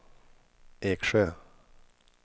Eksjö